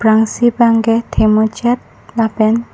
aprangsi abang ke the muchet lapen--